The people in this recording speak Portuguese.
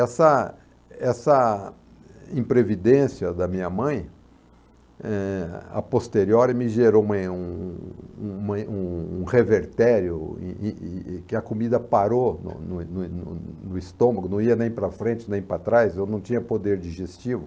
Essa essa imprevidência da minha mãe, eh, a posteriori, me gerou um revertério, e e e que a comida parou no no no no no estômago, não ia nem para frente, nem para trás, eu não tinha poder digestivo.